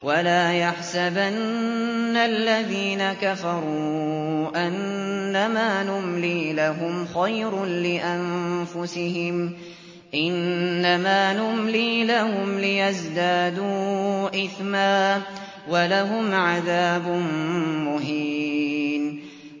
وَلَا يَحْسَبَنَّ الَّذِينَ كَفَرُوا أَنَّمَا نُمْلِي لَهُمْ خَيْرٌ لِّأَنفُسِهِمْ ۚ إِنَّمَا نُمْلِي لَهُمْ لِيَزْدَادُوا إِثْمًا ۚ وَلَهُمْ عَذَابٌ مُّهِينٌ